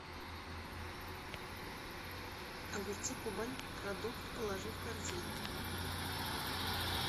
огурцы кубань продукт положи в корзину